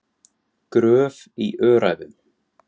Gröf í Öræfum.